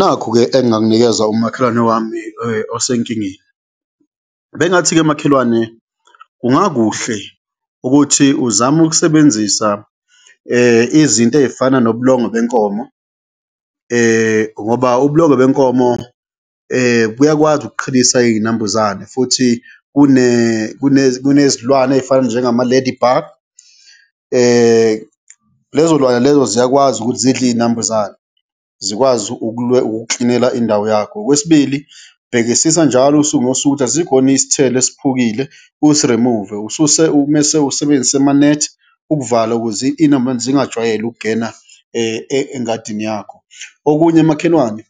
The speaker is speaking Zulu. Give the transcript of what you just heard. Nakhu-ke engingakunikeza umakhelwane wami osenkingeni, bengingathi-ke makhelwane, kungakuhle ukuthi uzame ukusebenzisa izinto ey'fana nobulongwe benkomo ngoba ubulongwe benkomo buyakwazi ukuqhelisa iy'nambuzane futhi kunezilwane ey'fana njengama-lady bug, lezo lwane lezo ziyakwazi ukuthi zidle iy'nambuzane, zikwazi ukukuklinela indawo yakho. Okwesibili, bhekisisa njalo usuku nosuku ukuthi asikho yini isithelo esiphukile, usi-remove-e mese usebenzise amanethi ukuvala ukuze iy'nambuzane zingajwayeli ukugena engadini yakho. Okunye makhelwane,